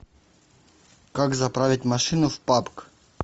как заправить машину в пабг